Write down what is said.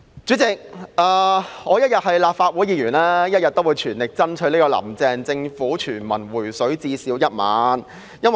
主席，只要我一日是立法會議員，我便會全力爭取"林鄭"政府向全民"回水"最少1萬元。